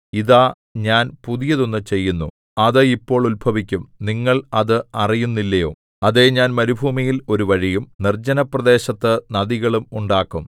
ഇതാ ഞാൻ പുതിയതൊന്നു ചെയ്യുന്നു അത് ഇപ്പോൾ ഉത്ഭവിക്കും നിങ്ങൾ അത് അറിയുന്നില്ലയോ അതേ ഞാൻ മരുഭൂമിയിൽ ഒരു വഴിയും നിർജ്ജനപ്രദേശത്തു നദികളും ഉണ്ടാക്കും